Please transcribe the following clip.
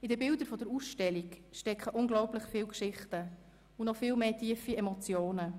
In den Bildern der Ausstellung stecken unglaublich viele Geschichten und noch viel mehr tiefe Emotionen.